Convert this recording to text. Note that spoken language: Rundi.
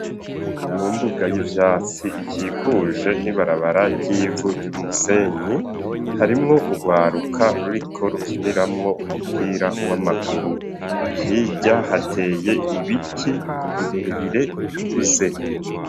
Mu mbuga y'ivyatsi ikikuje n'ibarabara ryivu ry'umusenyi harimwo urwaruka ruriko rukiniramwo umupira w'amaguru hirya hateye ibiti birebire bikuze.